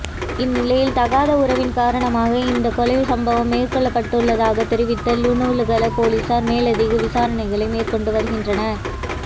இந்நிலையில் தகாத உறவின் காரணமாக இந்த கொலை சம்பவம் மேற்கொள்ளப்பட்டுள்ளதாக தெரிவித்த லுணுகல பொலிஸார் மேலதிக விசாரணைகளை மேற்கொண்டு வருகின்றனர்